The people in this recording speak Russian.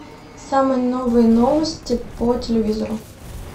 самые новые новости по телевизору